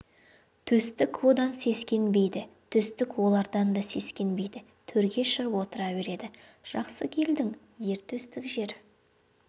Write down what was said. төстік одан сескенбейді төстік олардан да сескенбейді төрге шығып отыра береді жақсы келдің ер төстік жер